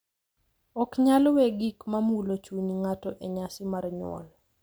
Ok nyal we gik ma mulo chuny ng’ato e nyasi mar nyuol.